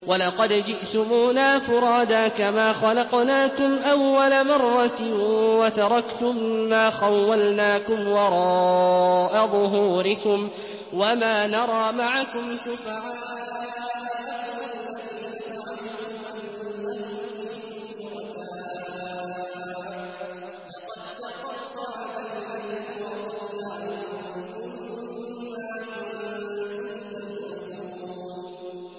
وَلَقَدْ جِئْتُمُونَا فُرَادَىٰ كَمَا خَلَقْنَاكُمْ أَوَّلَ مَرَّةٍ وَتَرَكْتُم مَّا خَوَّلْنَاكُمْ وَرَاءَ ظُهُورِكُمْ ۖ وَمَا نَرَىٰ مَعَكُمْ شُفَعَاءَكُمُ الَّذِينَ زَعَمْتُمْ أَنَّهُمْ فِيكُمْ شُرَكَاءُ ۚ لَقَد تَّقَطَّعَ بَيْنَكُمْ وَضَلَّ عَنكُم مَّا كُنتُمْ تَزْعُمُونَ